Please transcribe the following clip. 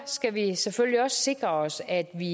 skal vi selvfølgelig også sikre os at vi